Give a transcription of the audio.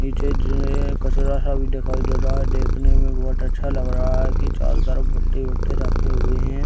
पीछे जो है कचरा है वो दिखाई दे रहा है देखने में बहोत अच्छा लग रहा है की चारों तरफ भट्टे-वट्टे रखे हुए हैं |